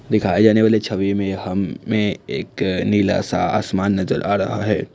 दिखाए जाने वाली छवि में हमें एक नीला सा आसमान नजर आ रहा है।